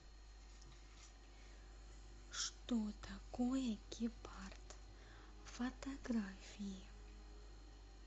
что такое гепард фотографии